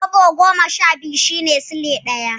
Kwabo goma sha biyu shine Silai ɗaya.